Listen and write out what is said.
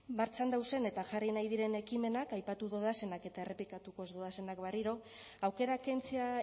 martxan dauzen eta jarri nahi diren ekimenak aipatu dodazenak eta errepikatuko ez dodazenak berriro aukera kentzea